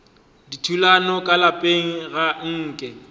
dithulano ka lapeng ga nke